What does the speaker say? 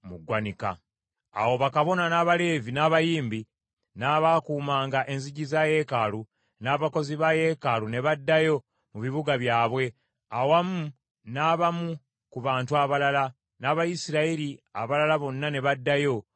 Awo bakabona, n’Abaleevi, n’abayimbi, n’abaakuumanga enzigi za yeekaalu, n’abakozi ba yeekaalu ne baddayo mu bibuga byabwe, awamu n’abamu ku bantu abalala, n’Abayisirayiri abalala bonna ne baddayo mu bibuga byabwe.